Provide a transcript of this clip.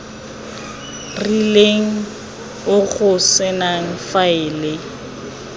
rileng o go senang faele